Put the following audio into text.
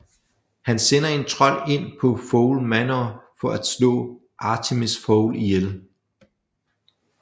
Han sender en trold ind på Fowl Manor for at slå Artemis Fowl ihjel